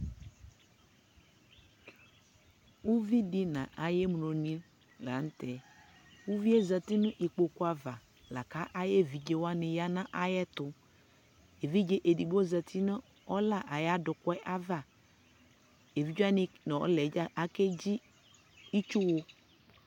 ʋvidi nʋ ayɛ mlɔni lantɛ, ʋviɛ zati nʋ ikpɔkʋ aɣa lakʋ ayi ɛvidzɛ waniyanʋ ayɛtʋ, ɛvidzɛ ɛdigbɔ zati nʋ ɔla ayi adʋkʋɛ aɣa, ɛvidzɛ wani nʋ ɔlaɛ dza akɛ dzi itsʋ wʋ